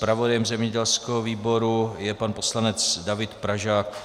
Zpravodajem zemědělského výboru je pan poslanec David Pražák.